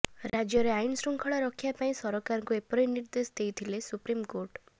ରାଜ୍ୟରେ ଆଇନ ଶୃଙ୍ଖଳା ରକ୍ଷା ପାଇଁ ସରକାରଙ୍କୁ ଏପରି ନିର୍ଦ୍ଦେଶ ଦେଇଥିଲେ ସୁପ୍ରିମକୋର୍ଟ